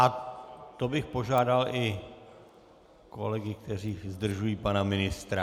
A to bych požádal i kolegy, kteří zdržují pana ministra.